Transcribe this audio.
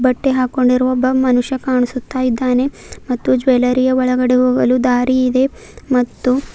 ಬಟ್ಟೆ ಹಾಕ್ಕೊಂಡಿರುವ ಒಬ್ಬ ಮನುಷ್ಯ ಕಾಣಿಸುತ್ತಾ ಇದ್ದಾನೆ ಮತ್ತು ಜ್ಯೊಲರಿಯ ಒಳಗಡೆ ಹೋಗಲು ದಾರಿ ಇದೆ ಮತ್ತು--